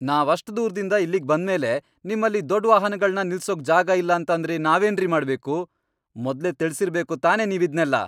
ನಾವಷ್ಟ್ ದೂರ್ದಿಂದ ಇಲ್ಲಿಗ್ ಬಂದ್ಮೇಲೆ ನಿಮ್ಮಲ್ಲಿ ದೊಡ್ಡ್ ವಾಹನಗಳ್ನ ನಿಲ್ಸೋಕ್ ಜಾಗ ಇಲ್ಲ ಅಂತಂದ್ರೆ ನಾವೇನ್ರಿ ಮಾಡ್ಬೇಕು? ಮೊದ್ಲೇ ತಿಳ್ಸಿರ್ಬೇಕು ತಾನೇ ನೀವಿದ್ನೆಲ್ಲ!